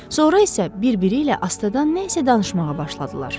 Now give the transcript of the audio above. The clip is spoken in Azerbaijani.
Sonra isə bir-biri ilə astadan nə isə danışmağa başladılar.